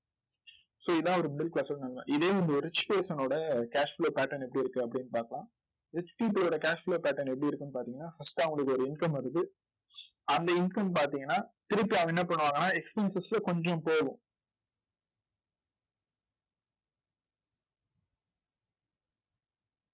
so இதுதான் வந்து ஒரு middle class ஓட நிலைமை. இதே ஒரு rich person ஓட cash flow pattern எப்படி இருக்கு அப்படின்னு பார்க்கலாம் rich people ஓட cash flow pattern எப்படி இருக்குன்னு பார்த்தீங்கன்னா first அவங்களுக்கு ஒரு income வருது. அந்த income பார்த்தீங்கன்னா திருப்பி அவங்க என்ன பண்ணுவாங்கன்னா expenses ல கொஞ்சம் போகும்